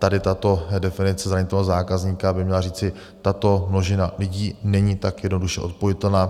Tady tato definice zranitelného zákazníka by měla říci: tato množina lidí není tak jednoduše odpojitelná.